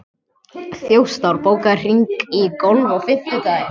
Þjóstar, bókaðu hring í golf á fimmtudaginn.